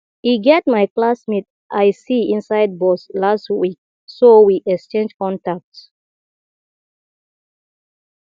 e get my classmate i see inside bus last week so we exchange contact